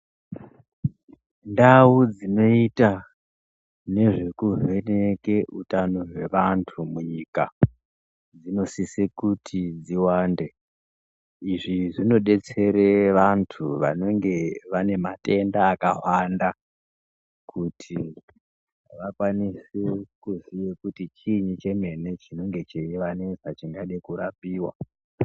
Ndau dzinoita nezvekuvheneke utano hwavantu munyika, dzinosise kuti dziwande, Izvi zvinobetsere vantu vanonge vane matenda akawanda. Kuti vakwanise kuziye kuti chiini chemene chinenge cheivanesa chingade kurapiwa.